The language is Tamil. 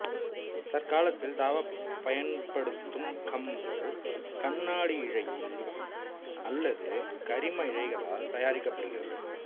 தற்காலத்தில் தாவப் பயன்படுத்தும் கம்பு கண்ணாடியிழை அல்லது கரிம இழைகளால் தயாரிக்கப்படுகிறது